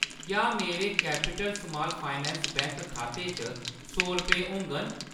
क्या मेरे Capital Small Finance खाते च सौ रपेऽ होङन ?